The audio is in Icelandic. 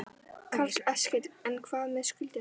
Karl Eskil: En hvað með skuldirnar?